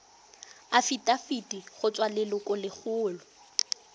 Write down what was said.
afitafiti go tswa go lelokolegolo